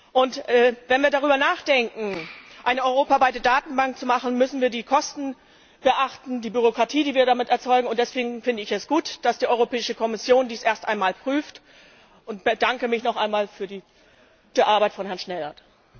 Und wenn wir darüber nachdenken, eine europaweite Datenbank zu erstellen, müssen wir die Kosten beachten, die Bürokratie, die wir damit erzeugen, und deswegen finde ich es gut, dass die Europäische Kommission dies erst einmal prüft und bedanke mich noch einmal für die gute Arbeit von Herrn Schnellhardt.